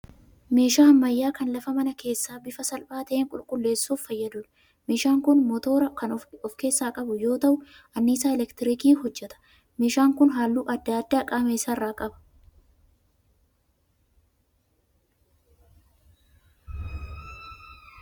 Meeshaa ammayyaa kan lafa mana keessaa bifa salphaa ta'een qulqulleessuuf fayyaduudha. Meeshaan kun 'motoora' kan ofi keessaa qabu yoo ta'u annisaa 'elektirikiin' hojjeta. Meeshaan kun halluu adda addaa qaama isaa irraa qaba.